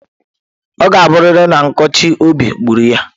Ọ ga-abụrịrị na nkụchi obi gburu ya.